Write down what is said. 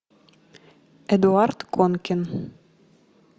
эдуард конкин